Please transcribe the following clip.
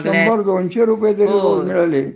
शंभर-दोनशे रुपये जरी मिळाले